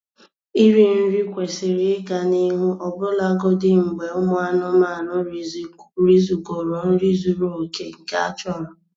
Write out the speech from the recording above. Iri nri kwesịrị ịga n'ihu ọbụlagodi mgbe ụmụ anụmanụ rizugoro nri zuru oke nke a chọrọ